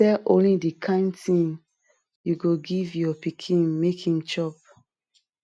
sell only de kain thing u go give your pikin make em chop